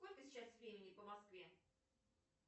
сколько сейчас времени по москве